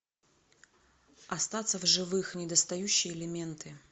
остаться в живых недостающие элементы